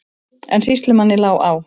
En sýslumanni lá á.